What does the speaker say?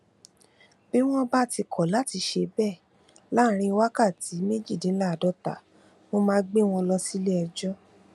bí wọn bá kọ láti ṣe bẹẹ láàrin wákàtí méjìdínláàádọta mo máa gbé wọn lọ síléẹjọ